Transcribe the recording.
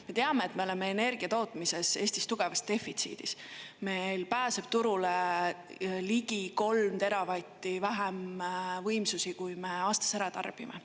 Ma teame, et me oleme energiatootmises Eestis tugevas defitsiidis, meil pääseb turule ligi 3 teravatti vähem võimsusi, kui me aastas ära tarbime.